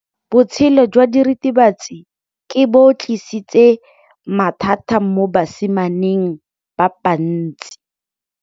Botshelo jwa diritibatsi ke bo tlisitse mathata mo basimaneng ba bantsi.